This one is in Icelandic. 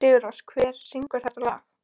Sigurrós, hver syngur þetta lag?